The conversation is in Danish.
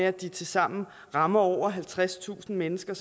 at de tilsammen rammer over halvtredstusind mennesker